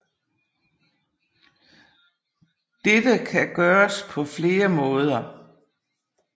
Dette kan gøres på flere måder